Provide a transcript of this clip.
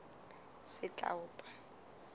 setlaopa